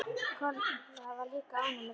Kolla var líka ánægð með lífið.